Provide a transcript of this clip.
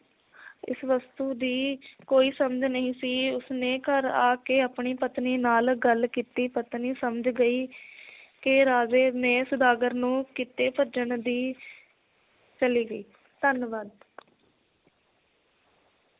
ਇਸ ਵਸਤੂ ਦੀ ਕੋਈ ਸਮਝ ਨਹੀ ਸੀ ਉਸਨੇ ਘਰ ਆ ਕੇ ਆਪਣੀ ਪਤਨੀ ਨਾਲ ਗੱਲ ਕੀਤੀ ਪਤਨੀ ਸਮਝ ਗਈ ਕਿ ਰਾਜੇ ਨੇ ਸੌਦਾਗਰ ਨੂੰ ਕਿਤੇ ਭੇਜਣ ਦੀ ਚਲੀ ਗਈ ਧੰਨਵਾਦ।